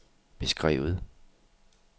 beskrevet